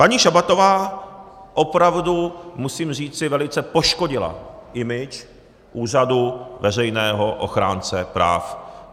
Paní Šabatová opravdu, musím říci, velice poškodila image úřadu veřejného ochránce práv.